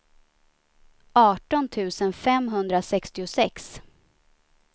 arton tusen femhundrasextiosex